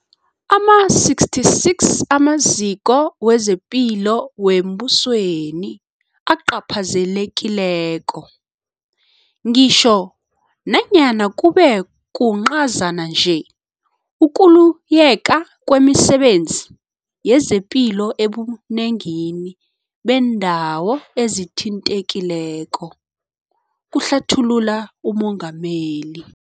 Ama-66 amaziko wezepilo wembusweni acaphazelekileko, ngitjho nanyana kube kuncazana nje ukuliyeka kwemisebenzi yezepilo ebunengini beendawo ezithintekileko, kuhlathulula uMengameli.